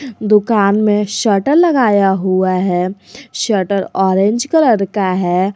दुकान में शटर लगाया हुआ है शटर ऑरेंज कलर का है।